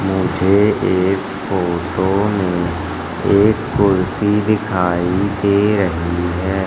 मुझे इस फोटो में एक कुर्सी दिखाई दे रही है।